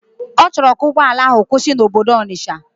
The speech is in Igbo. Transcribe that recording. Ọchọrọ ka ugbọala ahu kwusi na obodo Onitsha.